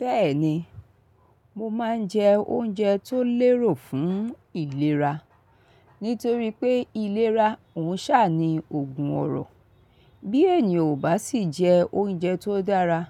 Bẹ́ẹ̀ni, mo máa ń jẹ oúnjẹ tó lérò fún ìlera. Nítorí pé ìlera òǹṣà ni ògùn ọrọ̀. Bí ènìyàn ò bá sì jẹ oúnjẹ tó dára,